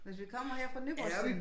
Hvis vi kommer her fra Nyborg siden